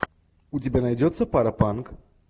у тебя найдется паропанк